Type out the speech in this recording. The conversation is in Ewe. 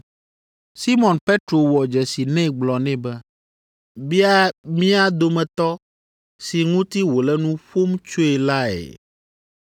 Simɔn Petro wɔ dzesi nɛ gblɔ nɛ be, “Bia mía dometɔ si ŋuti wòle nu ƒom tsoe lae.”